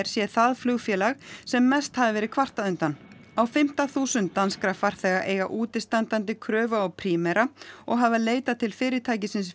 sé það flugfélag sem mest hafi verið kvartað undan á fimmta þúsund danskra farþega eiga útistandandi kröfu á Primera og hafa leitað til fyrirtækisins